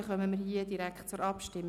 Damit kommen wir direkt zur Abstimmung.